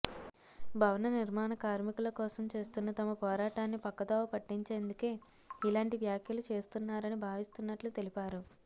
భవన నిర్మాణ కార్మికుల కోసం చేస్తున్న తమ పోరాటాన్ని పక్కదోవ పట్టించేందుకే ఇలాంటి వ్యాఖ్యలు చేస్తున్నారని భావిస్తున్నట్లు తెలిపారు